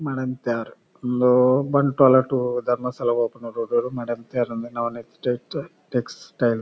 ಮಡಂತ್ಯಾರ್ ಇಂದು ಬಂಟ್ವಾಳ ಟು ಧರ್ಮಸ್ಥಳ ಪೋಪುನ ರೋಡ್ ಡ್ ಮಡಂತ್ಯಾರಂದ್ ನವ್ನೀಟ್ ಟೆಕ್ಸ್ ಟೆಕ್ಸ್ ಟೈಲ್ಸ್ .